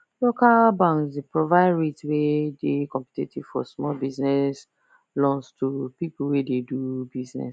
local banks dey provide rates wey dey competitive for small business loans to people wey dey do business